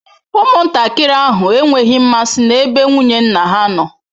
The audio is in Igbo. Ụmụntakịrị ahụ enweghị mmasị n'ebe nwunye nna ha nọ.